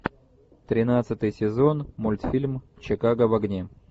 тринадцатый сезон мультфильм чикаго в огне